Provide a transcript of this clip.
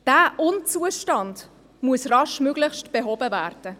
Dieser Unzustand muss raschestmöglich behoben werden